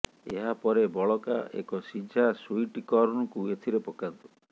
ଏହା ପରେ ବଳକା ଏକ ସିଝା ସୁଇଟ୍ କର୍ନ୍କୁ ଏଥିରେ ପକାନ୍ତୁ